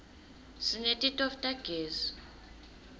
sineti tofu tagezi